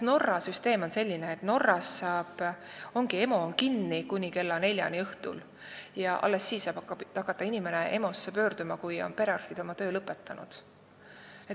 Norra süsteem on näiteks selline, et EMO ongi kinni kuni kella neljani õhtul ja alles siis saab inimene sinna pöörduda, kui perearstid on oma töö lõpetanud.